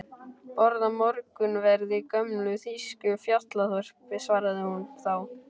Borða morgunverð í gömlu þýsku fjallaþorpi, svaraði hún þá.